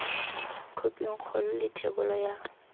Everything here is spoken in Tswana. khophing kgolo le thebolo ya